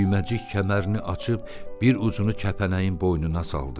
Düyməcik kəmərini açıb bir ucunu kəpənəyin boynuna saldı.